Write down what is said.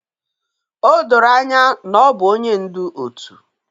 O doro anya na ọ bụ onye ndu òtù